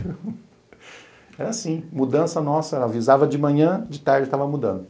Era assim, mudança nossa, avisava de manhã, de tarde tava mudando.